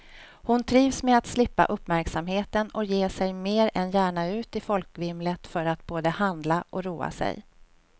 Hon trivs med att slippa uppmärksamheten och ger sig mer än gärna ut i folkvimlet för att både handla och roa sig.